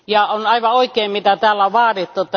On aivan oikein mitä täällä on vaadittu.